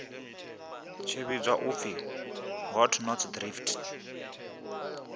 tshi vhidzwa u pfi hotnotsdrift